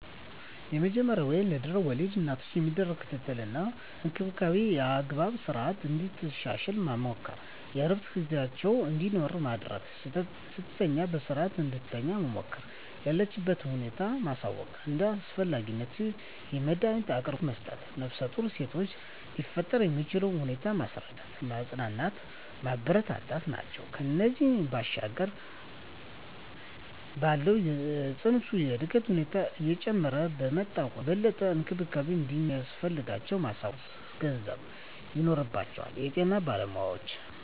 የመጀመሪያ ወይም ለድሕረ ወሊድ እናቶች የሚደረግ ክትትል እና እንክብካቤ የአመጋገብ ስረዓትን እንድታሻሽል መምከር፣ የእረፍት ጊዜ እንዲኖራት ማድረግ፣ ስትተኛ በስረዓት እንድትተኛ መምከር፣ የለችበትን ሁኔታ ማሳወቅ፣ እንደ አስፈላጊነቱ የመዳኒት አቅርቦት መስጠት፣ ነፍሰጡር ሲሆኑ ሊፈጠር የሚችለውን ሁኔታ ማስረዳት፣ ማፅናናት፣ ማበረታታት ናቸው። ከዚያ ባሻገር ባለው የፅንሱ የእድገት ሁኔታ እየጨመረ በመጣ ቁጥር የበለጠ እንክብካቤ እንደሚያስፈልጋቸው ማሳወቅ ወይም ማስገንዘብ ይኖርባቸዋል የጤና ባለሞያዎች።